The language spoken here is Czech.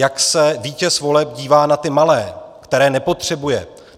Jak se vítěz voleb dívá na ty malé, které nepotřebuje.